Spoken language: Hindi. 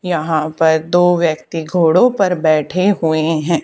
यहां पर दो व्यक्ती घोड़ों पर बैठे हुए हैं।